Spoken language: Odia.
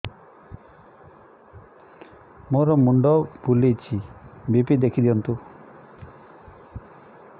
ମୋର ମୁଣ୍ଡ ବୁଲେଛି ବି.ପି ଦେଖି ଦିଅନ୍ତୁ